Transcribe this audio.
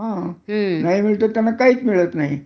त्यांना तर काहीच मिळत नाही